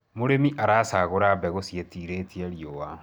mũrĩmi acaguraga mbegũ ciitiritie riũa